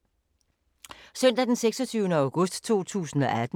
Søndag d. 26. august 2018